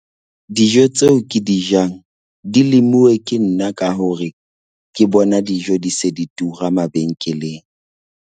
Dijo tseo ke di jang di lemuwe ke nna ka hore ke bona dijo di se di tura mabenkeleng.